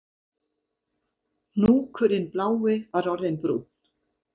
Hnúkurinn blái var orðinn brúnn